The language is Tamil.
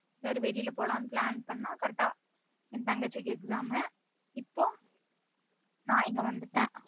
சேரி வெளில போலாம்னு plan பண்ணோம் correct ஆ என் தங்கச்சிக்கு exam உ இப்போ நா இங்க வந்துட்டேன்